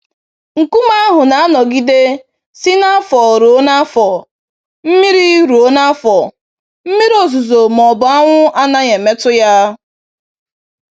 Nkume ahụ na-anọgide si n'afọ ruo n'afọ, mmiri ruo n'afọ, mmiri ozuzo ma ọ bụ anwụ anaghị emetụ ya.